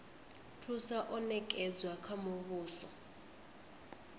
thusa o nekedzwa kha muvhuso